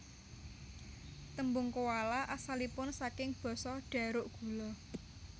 Tembung koala asalipun saking basa Dharuk gula